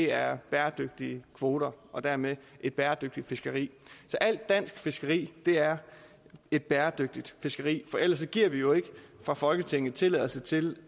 er bæredygtige kvoter og dermed et bæredygtigt fiskeri så alt dansk fiskeri er et bæredygtigt fiskeri for ellers giver vi jo ikke fra folketinget tilladelse til